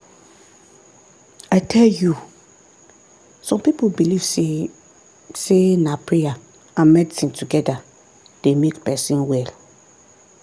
i tell you! some people believe say say na prayer and medicine together dey make person well.